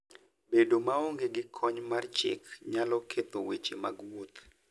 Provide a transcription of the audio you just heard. Bedo maonge gi kony mar chik nyalo ketho weche mag wuoth.